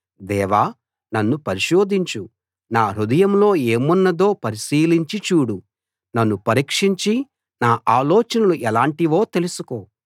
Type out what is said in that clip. దేవా నన్ను పరిశోధించు నా హృదయంలో ఏమున్నదో పరిశీలించి చూడు నన్ను పరీక్షించి నా ఆలోచనలు ఎలాంటివో తెలుసుకో